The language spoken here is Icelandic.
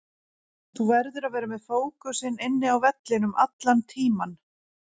Þú verður að vera með fókusinn inn á vellinum allan tímann.